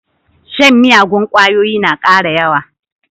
Shan miyagun ƙwayoyi na ƙara yawa.